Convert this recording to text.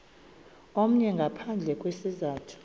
omnye ngaphandle kwesizathu